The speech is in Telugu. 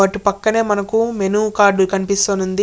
వాటి పక్కనే మనకు మెనూ కార్డు కనిపిస్తోంది.